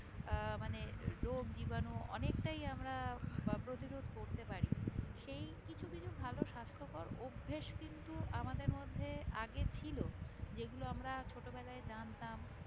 আহ মানে রোগ জীবাণু অনেকটাই আমরা আহ প্রতিরোধ করতে পারি সেই কিছু কিছু ভালো স্বাস্থকর অভ্যেস কিন্তু আমাদের মধ্যে আগে ছিল যেগুলো আমরা ছোট বেলায় জানতাম